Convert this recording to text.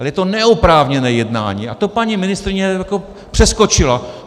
Ale je to neoprávněné jednání a to paní ministryně přeskočila.